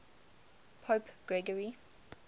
pope gregory